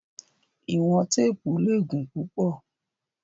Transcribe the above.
Iwọn teepu le gun pupọ